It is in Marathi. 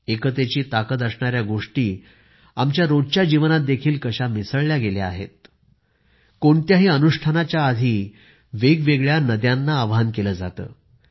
एकतेची ताकद असणाऱ्या गोष्टी आमच्या रोजच्या जीवनात देखील कशा मिसळल्या गेल्या आहेत कोणत्याही अनुष्ठानाच्या आधी वेगवेगळ्या नद्यांना आवाहन केले जाते